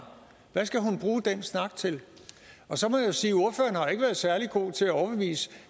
hvad skal hun bruge den snak til så må jeg jo sige at særlig god til at overbevise